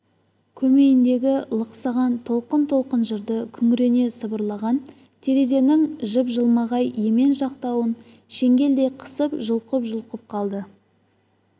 көмейіндегі лықсыған толқын-толқын жырды күңірене сыбырлаған терезенің жып-жылмағай емен жақтауын шеңгелдей қысып жұлқып-жұлқып қалды